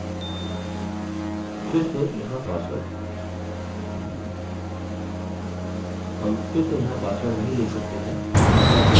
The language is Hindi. फिर से यहाँ password